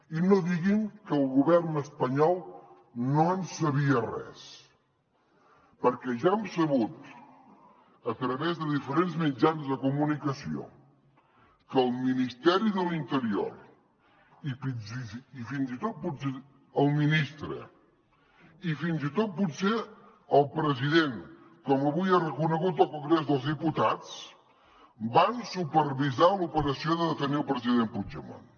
i no diguin que el govern espanyol no en sabia res perquè ja hem sabut a través de diferents mitjans de comunicació que el ministeri de l’interior i fins i tot el ministre i fins i tot potser el president com avui ha reconegut al congrés dels diputats van supervisar l’operació de detenir el president puigdemont